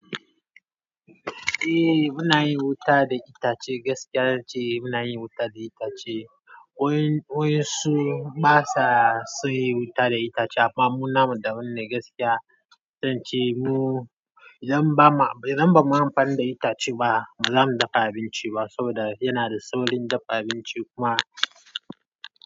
Eh muna yin wuta da itace, gaskiya ce muna yin wuta da itace. Waƴan su basa son yin wuta da itace amma mu namu daban ne gaskiya dan ce mu, idan ba ma, idan ba mu yi amfani da itace ba, ba zamu dafa abinci ba saboda yana da saurin dafa abinci kuma.